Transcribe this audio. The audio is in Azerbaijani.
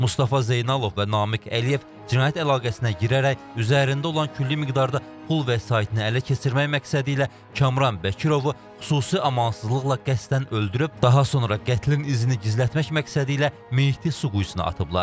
Mustafa Zeynalov və Namiq Əliyev cinayət əlaqəsinə girərək üzərində olan külli miqdarda pul vəsaitini ələ keçirmək məqsədi ilə Kamran Bəkirovu xüsusi amansızlıqla qəsdən öldürüb, daha sonra qətlin izini gizlətmək məqsədi ilə meyiti su quyusuna atıblar.